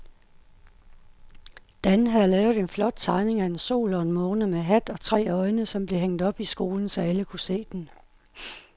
Dan havde lavet en flot tegning af en sol og en måne med hat og tre øjne, som blev hængt op i skolen, så alle kunne se den.